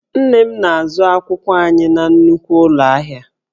Nne m na-azụ akwụkwọ anyị na nnukwu ụlọ ahịa